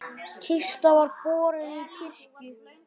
Kista var borin í kirkju.